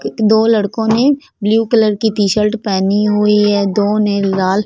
एक दो लड़कों ने ब्लू कलर की टी शर्ट पहनी हुई है दो ने लाल--